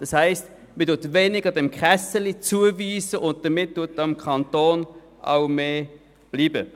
Das heisst, man weist dem Fonds weniger Geld zu, und somit bleibt dem Kanton mehr Geld.